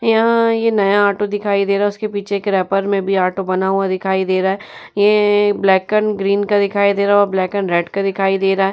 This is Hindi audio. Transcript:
यहां ये नया ऑटो दिखाई दे रहा है| उसके पीछे एक रैपर में भी ऑटो बना हुआ दिखाई दे रहा है| ये ब्लैक एण्ड ग्रीन कलर दिखाई दे रहा है| वो ब्लैक एण्ड रेड कलर दिखाई दे रहा है।